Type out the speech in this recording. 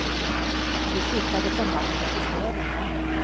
Vi flyttade från landet till städerna.